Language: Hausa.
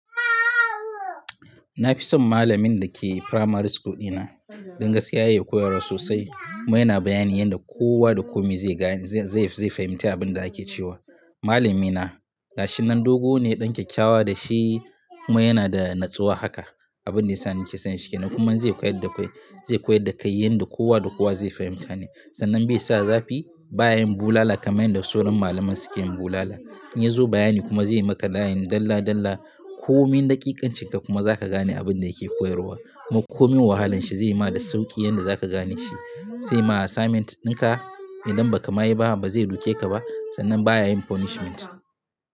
Na fi son malamin da ke primary school dina. Dan gaskiya ya iya koyarwa sosai kuma yana bayani yadda kowa da komi zai gane, zai, zai fahimci abin da ake cewa. Malami na, gashi nan dogo ne, ɗan kyakkyawa da shi kuma yana da natsuwa haka. Abin da ya sa na ke son shi kenan. Kuma in zai koyar da kai, zai koyar da kai yanda kowa da kowa zai fahimta ne. Sannan bai sa zafi baya yin bulala kamar yadda sauran malaman suke yin bulala. In ya zo bayani kuma zai yi maka layin dalla dalla. Komin daƙiƙancin ka kuma za ka gane abin da yake koyarwa. Komin wahalan shi zai ma da sauƙi yadda za ka gane shi. Zai ma assignment ɗinka idan ba ka mayi ba ba zai duke ka ba, sannan baya yin punishment.